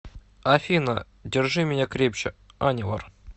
афина держи меня крепче анивар